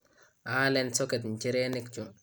aalen socket nchirenik chu